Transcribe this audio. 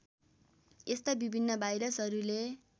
यस्ता विभिन्न भाइरसहरूले